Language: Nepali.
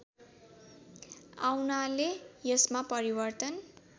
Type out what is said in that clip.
आउनाले यसमा परिवर्तन